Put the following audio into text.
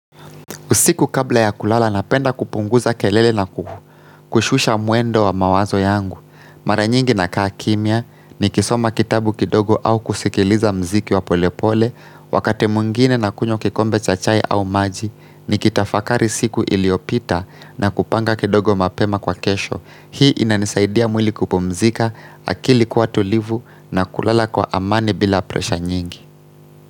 Usiku kabla ya kulala napenda kupunguza kelele na ku, kushusha mwendo wa mawazo yangu. Mara nyingi na kaa kimya, nikisoma kitabu kidogo au kusikiliza muziki wa pole pole, wakati mwngine nakunywa kikombe cha chai au maji, nikitafakari siku iliyopita na kupanga kidogo mapema kwa kesho. Hii inanisaidia mwili kupumzika, akili kuwa tulivu na kulala kwa amani bila presha nyingi.